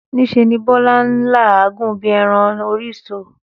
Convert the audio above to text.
Ní se ni Bólá n làágùn bí eran orí ìso